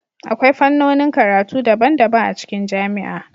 Akwai fannonin karatu daban-daban a cikin jami'a